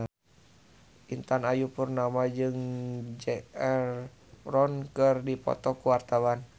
Intan Ayu Purnama jeung Zac Efron keur dipoto ku wartawan